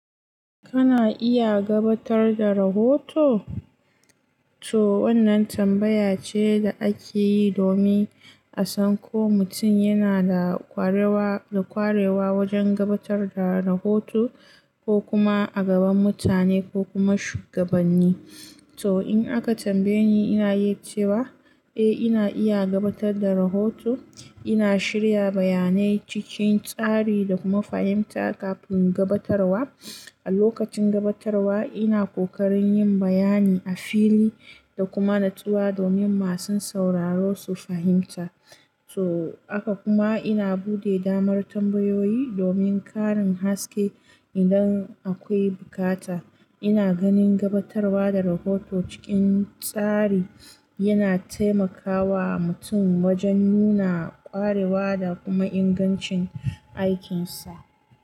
Kana iya gabatar da rahoto? To wannan tambaya ce da ake yi domin a san ko mutum yana da ƙwarewa, da ƙwarewa wajen gabatar da rahoto ko kuma a gaban mutane ko kuma shugabanni. To in aka tambaye ni, ina yi cewa eh ina iya gabatar da rahoto. Ina shirya bayanai cikin tsari da kuma fahimta kafin gabatarwa. A lokacin gabatarwa ina ƙoƙarin yin bayani a fili da kuma natsuwa domin masu sauraro su fahimta. So haka kuma ina buɗe damar tambayoyi domin ƙarin haske idan akwai bukata. Ina ganin gabatarwa da rahoto cikin tsari yana taimakawa mutum wajen nuna ƙwarewa da kuma ingancin aikinsa.